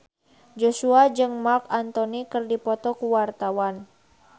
Joshua jeung Marc Anthony keur dipoto ku wartawan